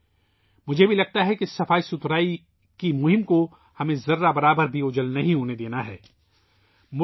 میں یہ بھی محسوس کرتا ہوں کہ ہمیں صفائی کی مہم کو ذرا بھی کم نہیں ہونے دینا چاہیئے